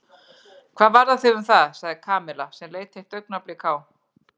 Hvað varðar þig um það? sagði Kamilla sem leit eitt augnablik á